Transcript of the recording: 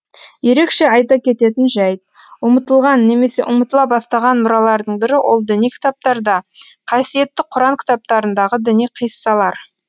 ерекше айта кететін жәйт ұмытылған немесе ұмытыла бастаған мұралардың бірі ол діни кітаптарда қасиетті құран кітаптарындағы діни қиссалар